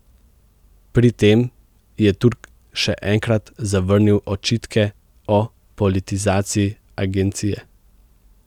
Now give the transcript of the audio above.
Pri tem je Turk še enkrat zavrnil očitke o politizaciji agencije.